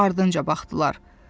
Ardınca baxdılar.